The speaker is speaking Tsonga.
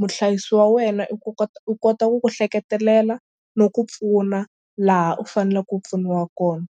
muhlayisi wa wena i ku kota u kota ku ku hleketelela no ku pfuna laha u fanelaka u pfuniwa kona.